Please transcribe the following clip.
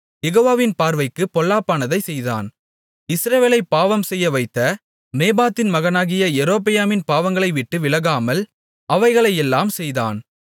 யெகோவாவின் பார்வைக்குப் பொல்லாப்பானதைச் செய்தான் இஸ்ரவேலைப் பாவம்செய்யவைத்த நேபாத்தின் மகனாகிய யெரொபெயாமின் பாவங்களை விட்டு விலகாமல் அவைகளையெல்லாம் செய்தான்